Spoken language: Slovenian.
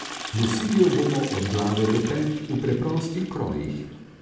Nosili jo bomo od glave do pet, v preprostih krojih.